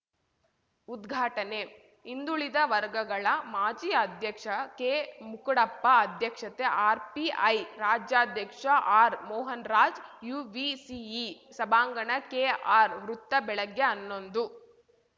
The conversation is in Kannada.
ಉದ್ಘಾಟನೆ ಹಿಂದುಳಿದ ವರ್ಗಗಳ ಮಾಜಿ ಅಧ್ಯಕ್ಷ ಕೆಮುಕುಡಪ್ಪ ಅಧ್ಯಕ್ಷತೆ ಆರ್‌ಪಿಐ ರಾಜ್ಯಾಧ್ಯಕ್ಷ ಆರ್‌ಮೋಹನ್‌ರಾಜ್‌ ಯುವಿಸಿಇ ಸಭಾಂಗಣ ಕೆಆರ್‌ ವೃತ್ತ ಬೆಳಗ್ಗೆ ಹನ್ನೊಂದು